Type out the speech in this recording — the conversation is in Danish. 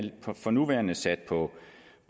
for nuværende sat på